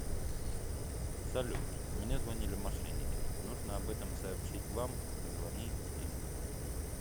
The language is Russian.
салют мне звонили мошенники нужно об этом сообщить вам звони им